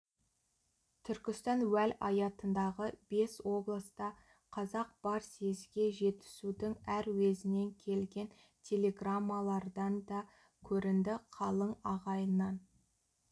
түркістан уәлаятындағы бес облыста қазақ бар съезге жетісудың әр уезінен келген телеграммалардан да көрінді қалың ағайыннан